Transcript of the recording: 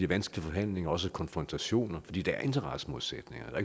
vanskelige forhandlinger også med konfrontationer fordi der er interessemodsætninger og